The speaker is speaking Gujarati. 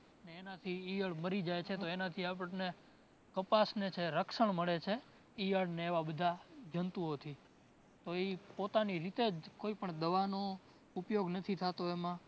એનાથી ઇયળ મરી જાય છે તો એનાથી આપણને કપાસને છે રક્ષણ મળે છે. ઇયળ અને એવા બધા જંતુઓ થી. તો ઇ પોતાની રીતે જ કોઈપણ દવાનો ઉપયોગ નથી થતો એમાં